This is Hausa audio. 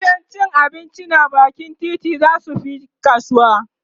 gidan abinci na bakin titi zasu Fi kasuwa